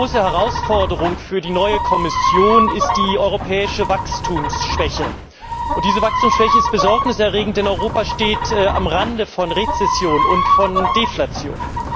Die große Herausforderung für die neue Kommission ist die europäische Wachstumsschwäche. Diese Wachstumsschwäche ist Besorgnis erregend, denn Europa steht am Rande von Rezession und von Deflation.